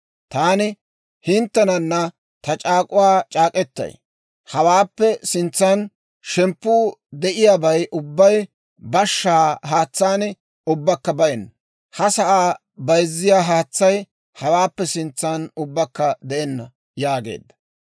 Taani hinttenana ta c'aak'k'uwaa c'aak'k'etay; hawaappe sintsan shemppuu de'iyaabay ubbay bashshaa haatsaan ubbakka bayenna; ha sa'aa bayzziyaa haatsay hawaappe sintsan ubbakka de'enna» yaageedda.